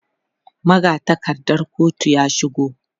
magatakardar kotun ya shigo